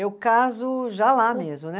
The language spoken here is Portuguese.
Eu caso já lá mesmo, né?